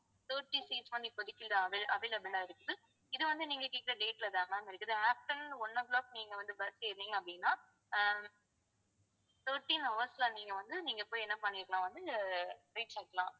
thirteen seats வந்து இப்போதைக்கு வந்து avail~ available ஆ இருக்கு இது வந்து நீங்க கேட்கிற date ல தான் ma'am இருக்குது afternoon one o'clock நீங்க வந்து bus ஏறுனீங்க அப்படினா ஆஹ் thirteen hours ல நீங்க வந்து நீங்க போய் என்ன பண்ணிருக்கலாம் வந்து reach ஆயிக்கலாம்